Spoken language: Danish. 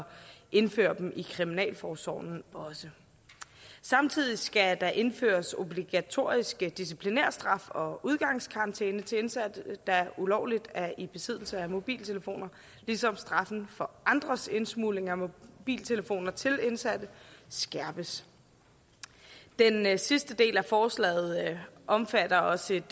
indføre dem i kriminalforsorgen samtidig skal der indføres obligatoriske disciplinærstraffe og udgangskarantæne til indsatte der ulovligt er i besiddelse af mobiltelefoner ligesom straffen for andres indsmugling af mobiltelefoner til indsatte skærpes den sidste del af forslaget omfatter også et